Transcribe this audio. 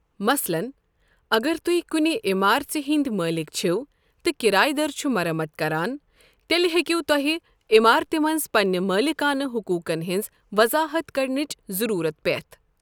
مثلاً، اگر تُہۍ کُنہِ عمارژِ ہندۍ مٲلِکھ چِھو تہٕ کِرایہٕ در چُھ مرمت کران، تیٚلہِ ہیٚکیو تۄہہِ عمارتہِ منٛز پنٛنہِ مٲلِکانہٕ حٔقوٗقن ہِنٛز وضاحت کرنٕچ ضٔروٗرت پٮ۪تھ ۔